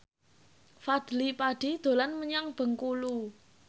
Fadly Padi dolan menyang Bengkulu